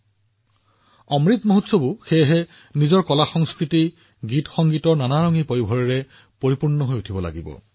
আনকি অমৃত মহোৎসৱতো আপোনালোকে আপোনাৰ কলা সংস্কৃতি গান সংগীতৰ ৰং পূৰণ কৰিব লাগে